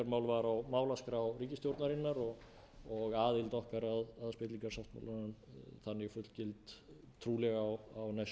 staðfestingarmál var á málaskrá ríkisstjórnarinnar og aðild okkar að spillingarsáttmálanum þannig fullgildur trúlega á allra